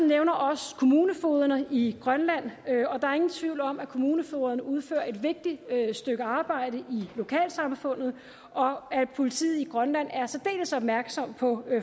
nævner også kommunefogederne i grønland der er ingen tvivl om at kommunefogederne udfører et vigtigt stykke arbejde i lokalsamfundet og at politiet i grønland er særdeles opmærksom på